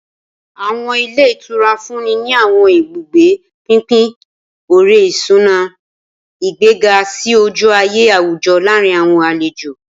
Awọn ilé ìtura nfunni ni awọn ibugbe pinpin ore-isuna, igbega si oju-aye awujọ laarin awọn alejo.